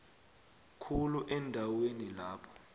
khulu eendaweni lapho